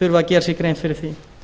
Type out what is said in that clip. þurfi að gera sér grein fyrir því